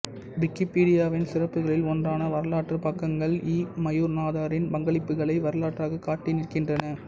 விக்கிப்பீடியாவின் சிறப்புகளில் ஒன்றான வரலாற்றுப் பக்கங்கள் இ மயூரநாதனின் பங்களிப்புக்களை வரலாறாக காட்டிநிற்கின்றன